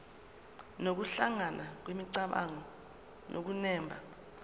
nokuhlangana kwemicabango nokunemba